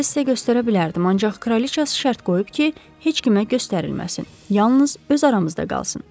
Bu sənədi sizə göstərə bilərdim, ancaq kraliça şərt qoyub ki, heç kimə göstərilməsin, yalnız öz aramızda qalsın.